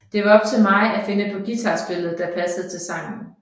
Den var op til mig at finde på guitar spillet der passede til sangen